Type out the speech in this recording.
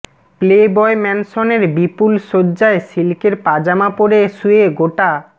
playboy ম্যানসনের বিপুল শয্যায় সিল্কের পাজামা পরে শুয়ে গোটা